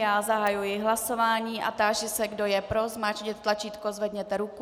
Já zahajuji hlasování a táži se, kdo je pro, zmáčkněte tlačítko, zvedněte ruku.